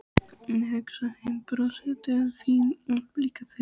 Ég hugsa heim, brosi til þín og blikka þig.